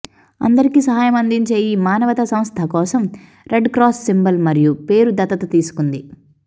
అందరికి సహాయం అందించే ఈ మానవతా సంస్థ కోసం రెడ్ క్రాస్ సింబల్ మరియు పేరు దత్తత తీసుకుంది